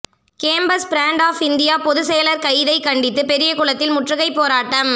campus front of India பொதுச்செயலர் கைதை கண்டித்து பெரியகுளத்தில் முற்றுகை போராட்டம்